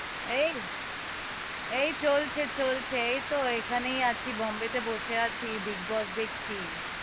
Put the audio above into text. এই এই চলছে চলছে, এই তো এখানেই আছি, বোম্বে তে বসে আছি, বিগ বস দেখছি,